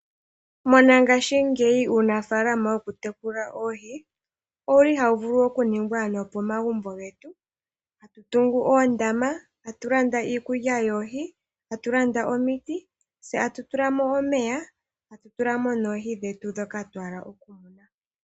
Mongashingeyi, uunafaalama wokutekula oohi, owu li hawu vulu okuningwa nopomagumbo getu, tatu tungu oondama, tatu landa iikulya yoohi, tatu landa omiti, tse tatu tula mo omeya, tatu tula mo noohi dhetu ndhoka twa hala okumuna.